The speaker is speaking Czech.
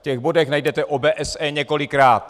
V těchto bodech najdete OBSE několikrát.